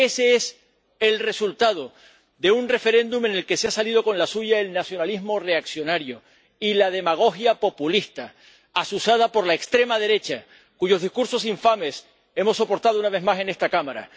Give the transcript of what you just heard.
Ese es el resultado de un referéndum en el que se han salido con la suya el nacionalismo reaccionario y la demagogia populista azuzada por la extrema derecha, cuyos discursos infames hemos soportado, una vez más, en esta Cámara.